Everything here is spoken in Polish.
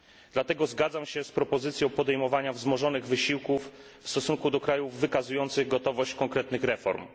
Dlatego zgadzam się z propozycją podejmowania wzmożonych wysiłków w stosunku do krajów wykazujących gotowość konkretnych reform.